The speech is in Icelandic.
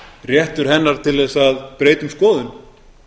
réttur hennar til að breyta um skoðun